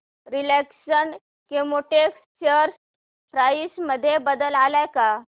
Reliance Chemotex share price मध्ये बदल आलाय का